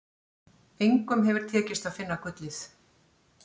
Engum hefur tekist að finna gullið.